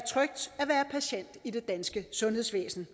patient i det danske sundhedsvæsen